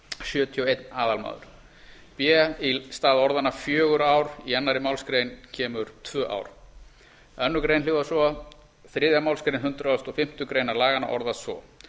sjötíu og einn aðalmaður b í stað orðanna fjögur ár í annarri málsgrein kemur tvö ár annars grein hljóðar svo þriðju málsgrein hundrað og fimmtu grein laganna orðast svo